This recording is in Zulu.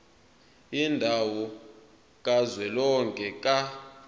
yendawo kazwelonke ka